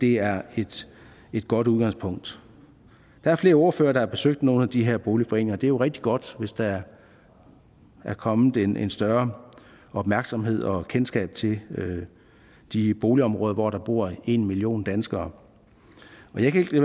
er et godt udgangspunkt der er flere ordførere der har besøgt nogle af de her boligforeninger og det er jo rigtig godt hvis der er kommet en en større opmærksomhed om og kendskab til de boligområder hvor der bor en million danskere men jeg kan ikke